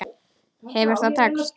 Hefur það tekist?